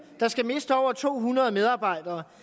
der skal miste over to hundrede medarbejdere